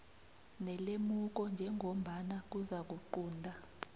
nelemuko njengombana kuzakuqunta